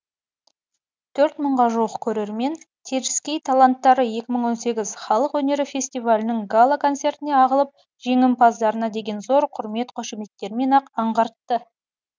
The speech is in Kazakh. төрт мыңға жуық көрермен теріскей таланттары екі мың он сегіз халық өнері фестивалінің гала концертіне ағылып жеңімпаздарына деген зор құрмет қошеметтерінен ақ аңғартты